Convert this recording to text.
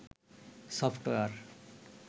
software